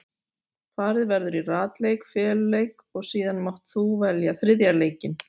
Farið verður í ratleik, feluleik og síðan mátt þú velja þriðja leikinn.